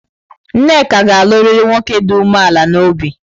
Nneka ga-alụrụ nwoke dị umeala n'obi.